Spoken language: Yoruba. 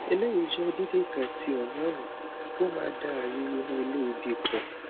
eleyi jẹ déédéé kan ti hormone ó máa dá ààyè inu ilé ìbí pọ